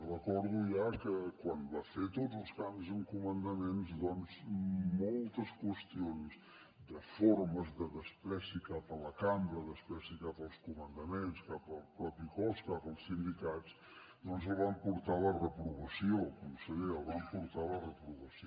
recordo ja que quan va fer tots els canvis amb comandaments doncs moltes qüestions de formes de menyspreu cap a la cambra menyspreu cap als comandaments cap al propi cos cap als sindicats doncs el van portar a la reprovació conseller el van portar a la reprovació